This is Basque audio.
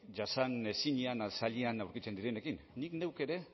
jasanezina zailean aurkitzen direnekin nik neuk ere